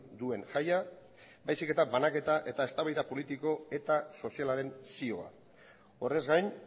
duen jaia baizik eta banaketa eta eztabaida politiko eta sozialaren zioa horrez gain